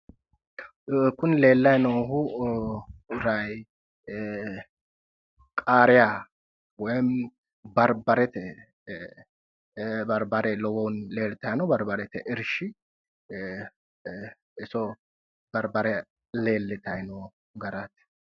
Kuni leellayi noohu qaariya woy barbarte barbare lowonta leellitayi no barbarete irshi barbare leellitayi noo garaati